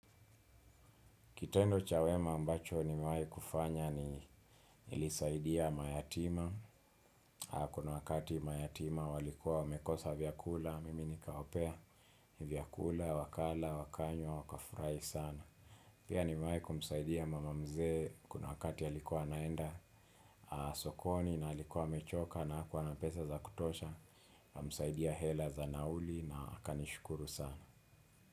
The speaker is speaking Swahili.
Kitendo cha wema ambacho niemwahi kufanya ni niilisaidia mayatima. Kuna wakati mayatima walikua wamekosa vyakula, mimi nikawapea, vyakula, wakala, wakanywa, wakafurahi sana. Pia nimewahi kumsaidia mama mzee kuna wakati alikuwa anaenda sokoni na alikuwa amechoka na hakua na pesa za kutosha. Msaidia hela za nauli na akanishukuru sana.